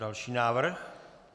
Další návrh.